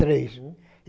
Três.